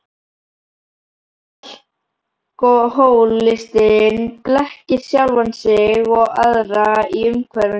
Alkohólistinn blekkir sjálfan sig og aðra í umhverfinu.